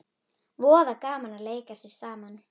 Voða gaman að leika sér saman